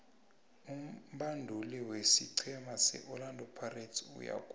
umbabduli wesiqhema se orlando pirates uyagula